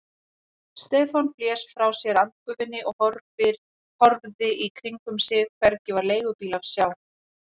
Stefán blés frá sér andgufunni og horfði í kringum sig, hvergi var leigubíl að sjá.